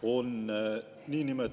Kuidas saab laps põlvneda kahest naisest?